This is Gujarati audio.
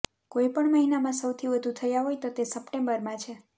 કોઇપણ મહિનામાં સૌથી વધુ થયા હોય તો તે સપ્ટેમ્બરમાં છે